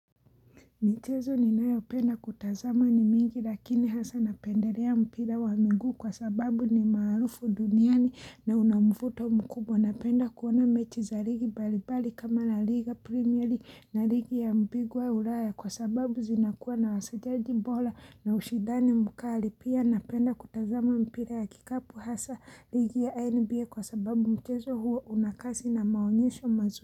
Michezo ninayopenda kutazama ni mingi lakini hasa napendelea mpira wa miguu kwa sababu ni maarufu duniani na una mvuto mkubwa. Napenda kuona mechi za ligi mbalimbali kama la liga premier league na ligi ya mbingwa ulaya kwa sababu zinakuwa na ustadi bora na ushindani mkali. Pia napenda kutazama mpira ya kikapu hasa ligi ya NBA kwa sababu mchezo huo una kasi na maonyesho mazuri.